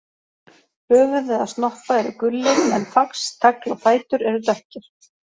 Höfuð eða snoppa eru gulleit en fax, tagl og fætur eru dökkir.